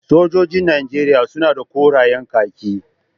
Sojojin najeriya suna korayen kaki